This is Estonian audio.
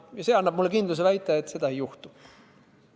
See annab mulle kindluse väita, et seda ei juhtu.